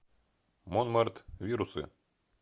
монмарт вирусы